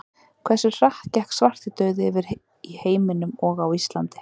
Hversu hratt gekk svartidauði yfir í heiminum og á Íslandi?